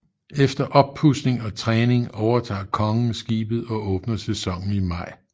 Efter oppudsning og træning overtager kongen skibet og åbner sæsonen i maj